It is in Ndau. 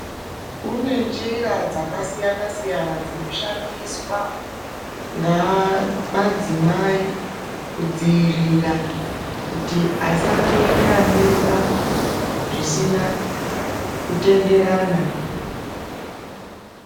Kune njira dzakasiyana siyana dzinoshandiswa ngamadzimai kudziirira kuti asangoita mimba zvisina kutenderana.